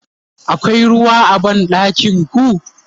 akwai ruwa a banɗakinku?